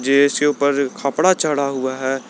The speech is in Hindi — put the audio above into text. के इसके ऊपर कपड़ा चढ़ा हुआ है।